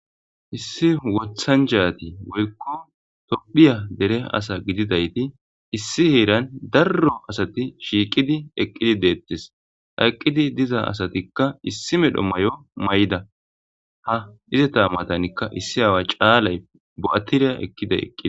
issi wothachati woykko tophiya dere asa gididayti issi heeran darro asati shiiqidi eqqidi deettis ha eqqidi diza asatikka issi medho mayo mayda ha izeta matanikka issi aawa caalay bo'atiriya ekiday eqqidi